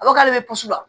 A ko k'ale bɛ pusi la